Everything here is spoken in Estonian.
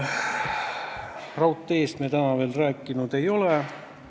Raudteest me täna veel rääkinud ei ole.